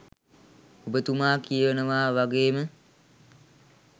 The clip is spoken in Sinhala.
ඔබතුමා කියනවා වාගේම